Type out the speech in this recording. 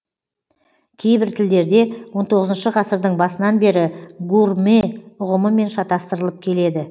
кейбір тілдерде он тоғызыншы ғасырдың басынан бері гурмэ ұғымымен шатастырылып келеді